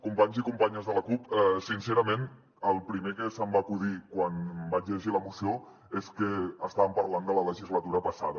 companys i companyes de la cup sincerament el primer que se’m va acudir quan vaig llegir la moció és que estàvem parlant de la legislatura passada